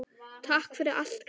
Takk fyrir allt, gamla mín.